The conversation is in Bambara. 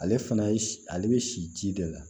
Ale fana ye ale bɛ si ji de la